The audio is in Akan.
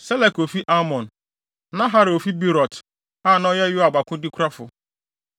Selek a ofi Amon; Naharai a ofi Beerot (a na ɔyɛ Yoab akodekurafo);